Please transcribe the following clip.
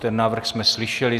Ten návrh jsme slyšeli.